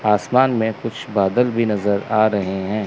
आसमान में कुछ बादल भी नजर आ रहे हैं।